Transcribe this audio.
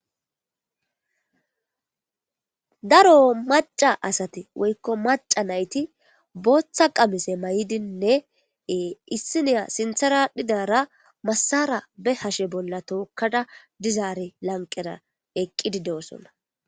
Daro maca nayti woyko maca asati bootha qamise mayidine issiniya sinthera adhidara masara be hashen bola tokada eqidari lanqera dosona